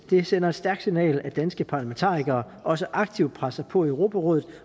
det sender et stærkt signal at danske parlamentarikere også aktivt presser på i europarådet